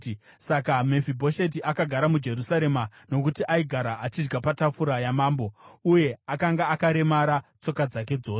Saka Mefibhosheti akagara muJerusarema nokuti aigara achidya patafura yamambo, uye akanga akaremara tsoka dzake dzose.